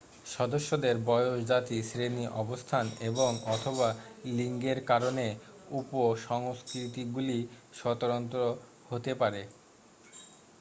সদস্যদের বয়স জাতি শ্রেণি অবস্থান এবং/অথবা লিঙ্গের কারণে উপ-সংস্কৃতিগুলি স্বতন্ত্র হতে পারে।